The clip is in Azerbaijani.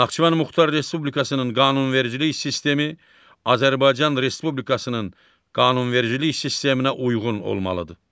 Naxçıvan Muxtar Respublikasının qanunvericilik sistemi Azərbaycan Respublikasının qanunvericilik sisteminə uyğun olmalıdır.